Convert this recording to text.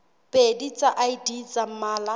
pedi tsa id tsa mmala